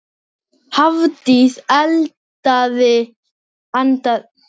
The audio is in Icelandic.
Hann lamdi hunda